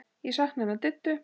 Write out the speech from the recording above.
Ég sakna hennar Diddu.